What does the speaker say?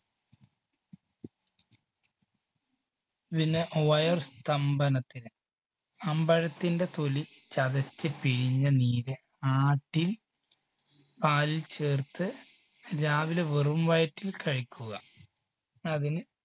പിന്നെ വയർ സ്തംഭനത്തിന്, അമ്പഴത്തിന്റെ തൊലി ചതച്ച് പിഴിഞ്ഞ് നീര് ആട്ടിൻ പാലിൽ ചേർത്ത് രാവിലെ വെറും വയറ്റിൽ കഴിക്കുക അതിന്